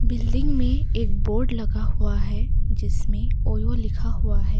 Building में एक board लगा हुआ है जिसमें ओयो लिखा हुआ है।